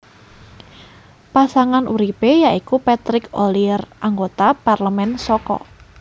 Pasangan uripe ya iku Patrick Ollier anggota parlemen saka